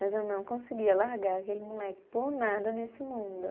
Mas eu não conseguia largar aquele moleque por nada nesse mundo.